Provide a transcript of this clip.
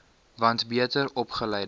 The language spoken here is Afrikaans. want beter opgeleide